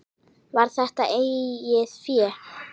Var þetta eigið fé?